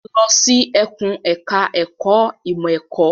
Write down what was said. Lọ sí ẹkùn ẹ̀ka ẹ̀kó ìmọ̀ ẹ̀kọ́.